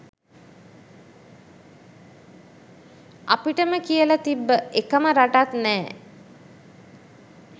අපිටම කියල තිබ්බ එකම රටත් නෑ